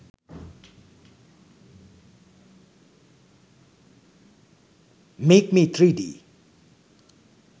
make me 3d